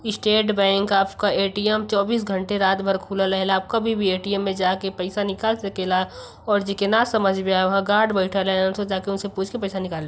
estate bank आपका ATM चौबीस घंटे रात भर खुला रहेला आप कभी भी ए_टी_एम में जाके पईसा निकाल सकेला और जेके ना समझ में आवह गार्ड बैठेला जाके ओसे पूछ के पैसा निकाल--